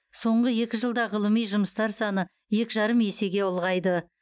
соңғы екі жылда ғылыми жұмыстар саны екі жарым есе ұлғайды